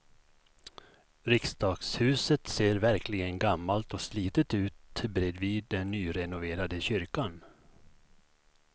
Riksdagshuset ser verkligen gammalt och slitet ut bredvid den nyrenoverade kyrkan.